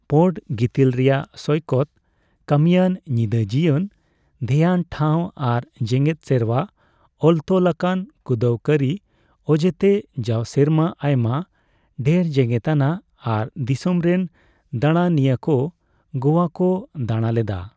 ᱯᱚᱸᱰ ᱜᱤᱛᱤᱞ ᱨᱮᱭᱟᱜ ᱥᱳᱭᱠᱚᱛ, ᱠᱟᱹᱢᱤᱭᱟᱹᱱ ᱧᱤᱫᱟᱹ ᱡᱤᱭᱚᱱ, ᱫᱷᱮᱭᱟᱱ ᱴᱷᱟᱣ ᱟᱨ ᱡᱮᱸᱜᱮᱫ ᱥᱮᱨᱣᱟ ᱚᱞᱛᱚᱞ ᱟᱠᱟᱱ ᱠᱩᱸᱫᱟᱹᱣ ᱠᱟᱹᱨᱤ ᱚᱡᱮᱛᱮ ᱡᱟᱣ ᱥᱮᱨᱢᱟ ᱟᱭᱢᱟ ᱰᱷᱮᱨ ᱡᱮᱸᱜᱮᱛᱟᱱᱟᱜ ᱟᱨ ᱫᱤᱥᱚᱢ ᱨᱮᱱ ᱫᱟᱲᱟᱱᱤᱭᱟᱹ ᱠᱚ ᱜᱳᱣᱟ ᱠᱚ ᱫᱟᱲᱟ ᱞᱮᱫᱟ ᱾